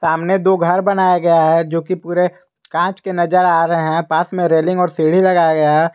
सामने दो घर बनाया गया है जो कि पूरे कांच के नजर आ रहे हैं पास में रेलिंग और सीढ़ी लगाया गया।